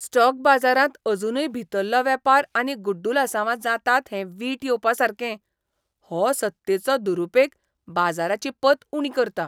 Stock बाजारांत अजुनूय भितरलो वेपार आनी गुड्डलसांवां जातात हें वीट येवपासारकें. हो सत्तेचो दुरुपेग बाजाराची पत उणी करता